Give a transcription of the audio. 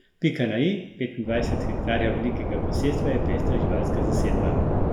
Pika na i petindvajset hektarjev velikega posestva je pestra živalska zasedba.